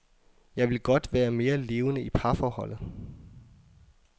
Jeg vil godt være mere levende i parforholdet.